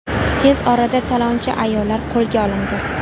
Tez orada talonchi ayollar qo‘lga olindi.